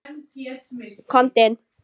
Komdu inn